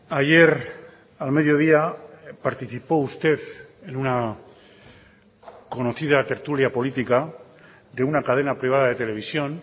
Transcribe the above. ayer al mediodía participó usted en una conocida tertulia política de una cadena privada de televisión